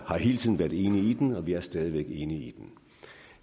har hele tiden været enige i den og vi er stadig væk enige i den